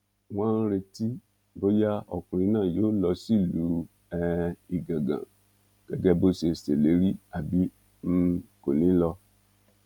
wọn ń retí bóyá ọkùnrin náà yóò lọ sílùú um igangan gẹgẹ bó ṣe ṣèlérí àbí um kò ní í lọ